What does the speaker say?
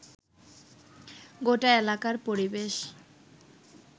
গোটা এলাকার পরিবেশ